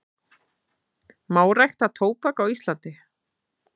Má rækta tóbak á Íslandi?